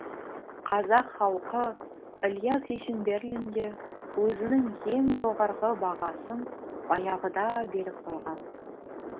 қазақ халқы ілияс есенберлинге өзінің ең жоғарғы бағасын баяғыда беріп қойған